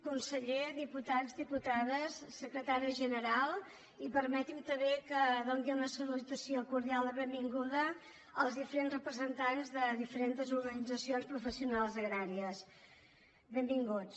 conseller diputats diputades se·cretari general i permetin·me també que doni una salu·tació cordial de benvinguda als diferents representants de diferents organitzacions professionals agràries ben·vinguts